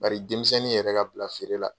Bari denmisɛnnin yɛrɛ ka bila feere la